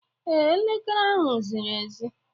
Ee, Elekere ahụ ziri ezi